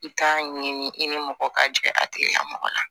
I k'a ɲini i ni mɔgɔ ka jigigɛ a tigila mɔgɔ la